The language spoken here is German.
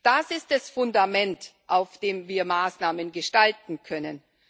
Das ist das Fundament, auf dem wir Maßnahmen gestalten können.